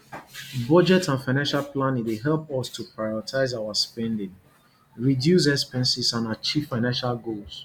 budget and financial planning dey help us to prioritize our spending reduce expenses and achieve financial goals